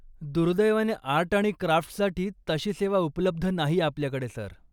दुर्दैवाने, आर्ट आणि क्राफ्ट्ससाठी तशी सेवा उपलब्ध नाही आपल्याकडे, सर.